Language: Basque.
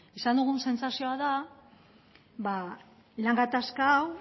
izan dugun sentsazioa da lan gatazka hau